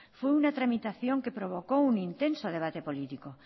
fue una tramitación que provocó un intenso debate político